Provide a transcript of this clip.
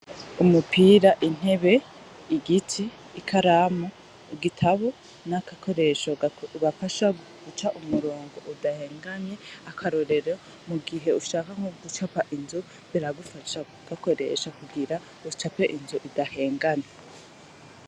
Umupira, intebe, igiti, ikaramu, igitabo, n'agakoresho kabafasha guca umurongo udahengamye, akarorero mu gihe ushaka nko gucapa inzu biragufasha kugakoresha kugira ucape inzu idahengamye.